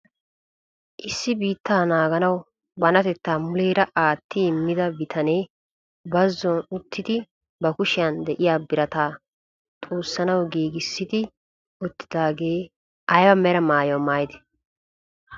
Issi biittaa naaganawu banatettaa muleera aattidi immida bitanee bazzon uttidi ba kushiyaan de'iyaa birataa xuussanawu giigissidi uttidagee ayba mera maayuwaa maayidee?